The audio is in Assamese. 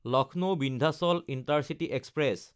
লক্ষ্ণৌ–বিন্ধ্যাচল ইণ্টাৰচিটি এক্সপ্ৰেছ